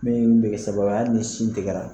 Min eɛ sababu ye hali ni sin tigɛra